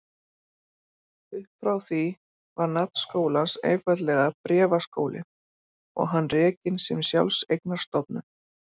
Uppfrá því var nafn skólans einfaldlega Bréfaskólinn og hann rekinn sem sjálfseignarstofnun.